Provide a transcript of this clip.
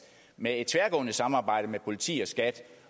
med et tværgående samarbejde politiet skat